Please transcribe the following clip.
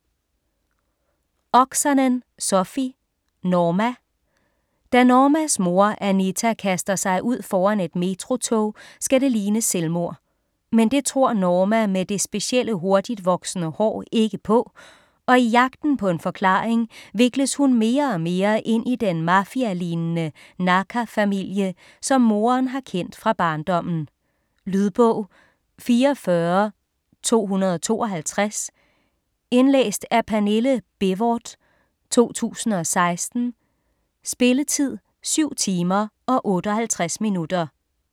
Oksanen, Sofi: Norma Da Normas mor, Anita, kaster sig ud foran et metrotog, skal det ligne et selvmord. Men det tror Norma med det specielle hurtigtvoksende hår ikke på, og i jagten på en forklaring vikles hun mere og mere ind i den mafialignende Naaka-familie, som moderen har kendt fra barndommen. Lydbog 44252 Indlæst af Pernille Bévort, 2016. Spilletid: 7 timer, 58 minutter.